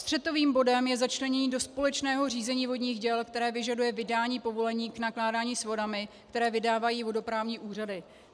Střetovým bodem je začlenění do společného řízení vodních děl, které vyžaduje vydání povolení k nakládání s vodami, které vydávají vodoprávní úřady.